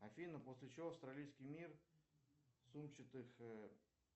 афина после чего австралийский мир сумчатых